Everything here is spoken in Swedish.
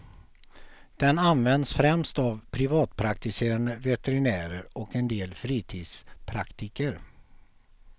Den används främst av privatpraktiserande veterinärer och en del fritidspraktiker.